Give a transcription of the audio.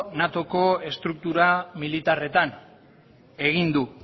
natoko estruktura militarretan egin du